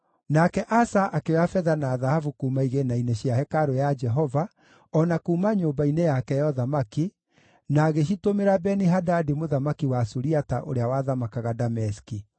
Nake Asa akĩoya betha na thahabu kuuma igĩĩna-inĩ cia hekarũ ya Jehova o na kuuma nyũmba-inĩ yake ya ũthamaki, na agĩcitũmĩra Beni-Hadadi mũthamaki wa Suriata ũrĩa wathamakaga Dameski.